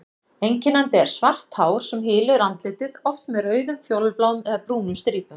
Einkennandi er svart hár sem hylur andlitið, oft með rauðum, fjólubláum eða brúnum strípum.